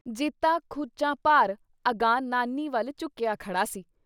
ਜੀਤਾ ਖੁੱਚਾਂ ਭਾਰ ਅਗਾਂ ਨਾਨੀ ਵੱਲ ਝੁਕਿਆ ਖੜਾ ਸੀ ।